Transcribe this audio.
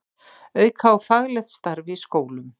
Auka á faglegt starf í skólum